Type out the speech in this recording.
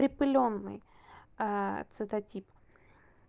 припылённый цветотип